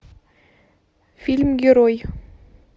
фильм герой